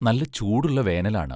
നല്ല ചൂടുള്ള വേനലാണ്.